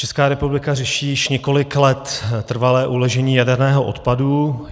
Česká republika řeší už několik let trvalé uložení jaderného odpadu.